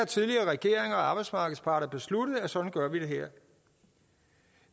tidligere regeringer og arbejdsmarkedsparter har besluttet at sådan gør vi det her